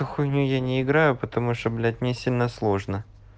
а хуйню я не играю потому что блять мне сильно сложно